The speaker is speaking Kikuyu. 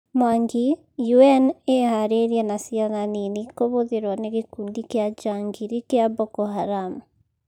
Mwangi: UN ĩharĩrie na ciana nini kũhũthĩrwo nĩ gĩkundi kĩa njangiri kĩa Boko Haram